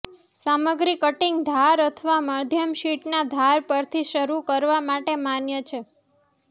સામગ્રી કટિંગ ધાર અથવા મધ્યમ શીટના ધાર પરથી શરૂ કરવા માટે માન્ય છે